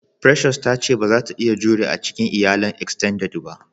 "Precious" ta ce bazata iya jure a cikin iyalan "extended" ba.